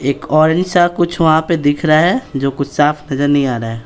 एक ऑरेंज सा कुछ वहाँ पे दिख रहा है जो कुछ साफ नजर नहीं आ रहा है।